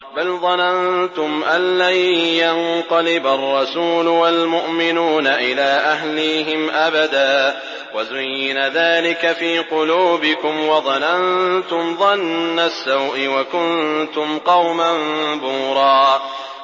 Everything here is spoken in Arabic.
بَلْ ظَنَنتُمْ أَن لَّن يَنقَلِبَ الرَّسُولُ وَالْمُؤْمِنُونَ إِلَىٰ أَهْلِيهِمْ أَبَدًا وَزُيِّنَ ذَٰلِكَ فِي قُلُوبِكُمْ وَظَنَنتُمْ ظَنَّ السَّوْءِ وَكُنتُمْ قَوْمًا بُورًا